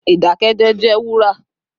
Idakẹjẹ jẹ wura